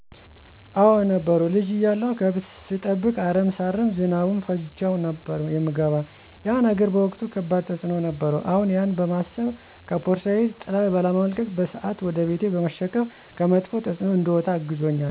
አዎ ነበሩ። ልጅ እያለሁ ገብት ሰጠብቅ፣ አረም ሳርም ዝናቡን ፈጅቸው ነበር የምገባ ያ ነገር በወቅቱ ከባድ ተፅኖ ነበረው አሁን ያነ በማሰብ ከፖርሳየ ጥላ ባለመልቀቅና በስአት ወደ ቤቴ በመሸከፍ ከመጥፍ ተፅኖ እንድወጣ አግዞኛል።